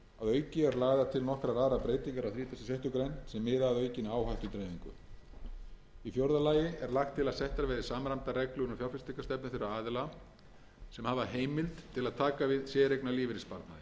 auki eru lagðar til nokkrar aðrar breytingar á þrítugasta og sjöttu grein sem miða að aukinni áhættudreifingu í fjórða lagi er lagt til að settar verði samræmdar reglur um fjárfestingarstefnu þeirra aðila sem hafa heimild til að taka við séreignarlífeyrissparnaði samkvæmt